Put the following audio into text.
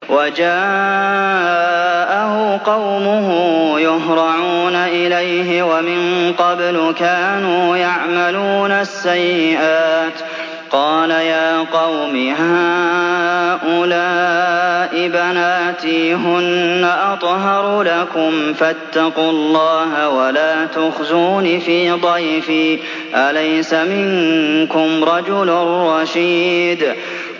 وَجَاءَهُ قَوْمُهُ يُهْرَعُونَ إِلَيْهِ وَمِن قَبْلُ كَانُوا يَعْمَلُونَ السَّيِّئَاتِ ۚ قَالَ يَا قَوْمِ هَٰؤُلَاءِ بَنَاتِي هُنَّ أَطْهَرُ لَكُمْ ۖ فَاتَّقُوا اللَّهَ وَلَا تُخْزُونِ فِي ضَيْفِي ۖ أَلَيْسَ مِنكُمْ رَجُلٌ رَّشِيدٌ